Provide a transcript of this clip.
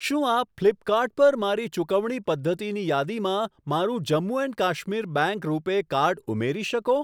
શું આપ ફ્લીપકાર્ટ પર મારી ચુકવણી પદ્ધતિની યાદીમાં મારું Jammu and Kashmir bank RuPay card ઉમેરી શકો?